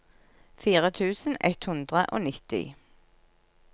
fire tusen ett hundre og nitti